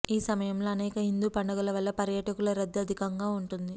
ఈ సమయంలో అనేక హిందూ పండుగల వల్ల పర్యాటకుల రద్దీ అధికంగా ఉంటుంది